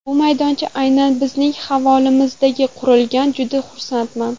Bu maydoncha aynan bizning hovlimizda qurilganidan juda xursandman.